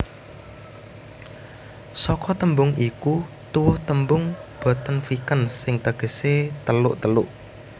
Saka tembung iku tuwuh tembung Bottenviken sing tegese teluk teluk